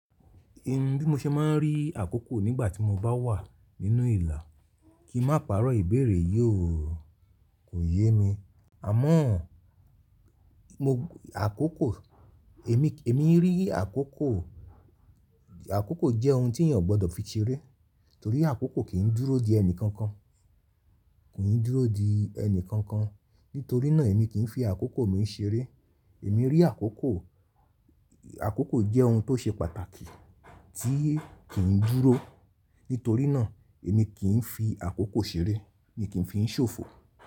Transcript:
Ẹ̀ ń bí mo ṣe máa ń rí àkókò nígbà tí mo bá wà nínú ìlà. Kí máa pàrọ̀ ìbéèrè yíò kò yé mi. Àmọ́ mo àkókò èmi, èmi rí àkókò, àkókò jẹ́ ohun tí èèyàn gbọ́dọ̀ fi ṣeré torí àkókò kìí dúró di ẹni kankan, kò yí dúró di ẹni kankan. Nítorí náà èmi kìí fi àkókò mi ṣeré. Èmi rí àkókò, àkókò jẹ́ ohun tó ṣe pàtàkì tí kìí dúró. Nítorí náà èmi kìí fi àkókò ṣeré, èmi kìí fi í ṣòfò.